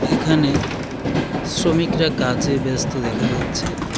এখানে শ্রমিকরা কাজে ব্যস্ত দেখা যাচ্ছে.